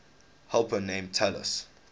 helper named talus